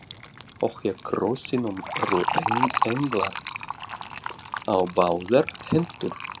Og hjá krossinum eru englar á báðar hendur